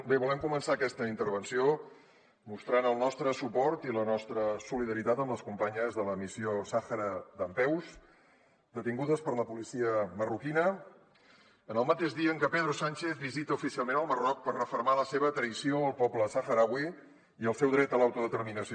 bé volem començar aquesta intervenció mostrant el nostre suport i la nostra solidaritat amb les companyes de la missió sàhara dempeus detingudes per la policia marroquina en el mateix dia en què pedro sánchez visita oficialment el marroc per refermar la seva traïció al poble sahrauí i el seu dret a l’autodeterminació